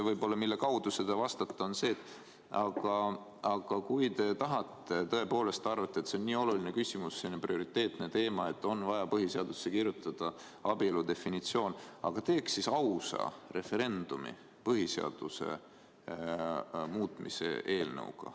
Aga ettepanek, millest lähtudes sellele vastata, on see, et kui te tõepoolest arvate, et see on nii oluline küsimus, nii prioriteetne teema, et on vaja põhiseadusesse kirjutada abielu definitsioon, siis ehk teeks ausa referendumi põhiseaduse muutmise teemal.